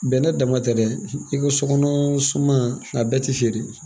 Bɛnɛ dama tɛ dɛ i ko sɔkɔnɔ suman a bɛɛ tɛ feere